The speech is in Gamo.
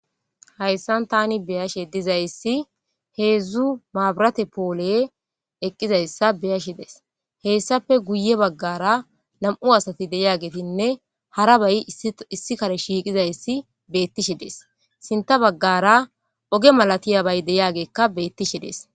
Hayssan tani be7ashe dizayssi heedzdzu maburate pooley eqqidayssa be7ashe days hessape guye baggara nam7u asati de7iyabayne harsba issi kare shiiqizayssi beetishe dees. Sintta baggara oge malatiyabeyka beetishe dees.